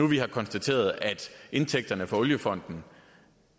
vi har konstateret at indtægterne fra oliefonden